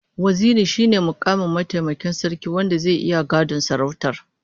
Waziri shine mukami na mataimakin sarki wanda zai iya gadon sarautar